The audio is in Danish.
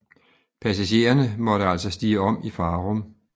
Passagererne måtte altså stige om i Farum